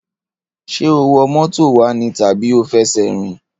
Ṣé o wọ mọ́tò wá ní tàbí o fi ẹsẹ̀ rìn?